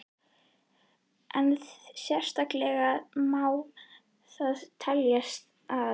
En sérkennilegt má það teljast að